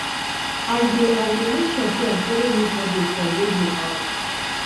i dey i dey make sure sey i folo news update for radio um